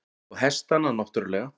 Og hestana náttúrlega.